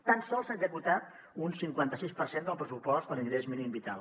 tan sols s’ha executat un cinquanta sis per cent del pressupost de l’ingrés mínim vital